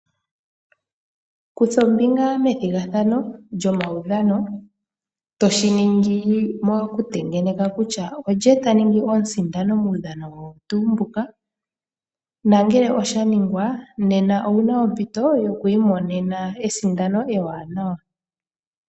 Kutha ombinga me thigathano lyomawudhano toshiningi mokutengeneka kutya olye taningi omusindani mudhano owo tu mbu. Nangele shaningwa nena owuna ompito wi monene esindano ewanawa